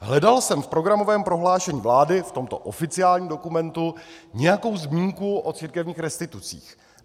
Hledal jsem v programovém prohlášení vlády, v tomto oficiálním dokumentu, nějakou zmínku o církevních restitucích.